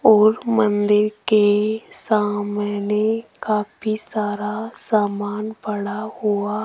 और मंदिर के सामने काफी सारा सामान पड़ा हुआ --